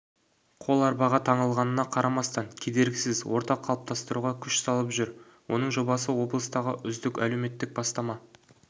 қол арбаға таңылғанына қарамастан кедергісіз орта қалыптастыруға күш салып жүр оның жобасы облыстағы үздік әлеуметтік бастама